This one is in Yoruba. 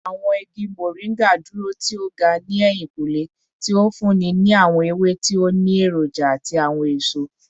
Awọn igi Moringa duro ti o ga ni ehinkunle, ti o funni ni awọn ewe ti o ni eroja ati awọn eso